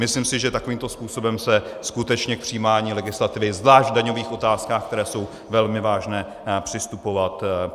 Myslím si, že takovýmto způsobem se skutečně k přijímání legislativy, zvlášť v daňových otázkách, které jsou velmi vážné, přistupovat nemá.